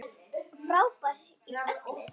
Frábær í öllu!